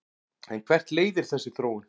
En hvert leiðir þessi þróun?